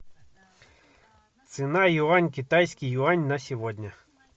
цена юань китайский юань на сегодня